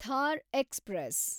Thar express